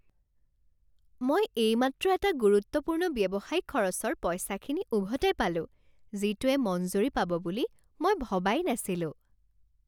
মই এইমাত্ৰ এটা গুৰুত্বপূৰ্ণ ব্যৱসায়িক খৰচৰ পইচাখিনি উভতাই পালোঁ যিটোৱে মঞ্জুৰি পাব বুলি মই ভবাই নাছিলোঁ।